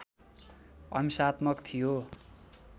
अहिंसात्मक थियो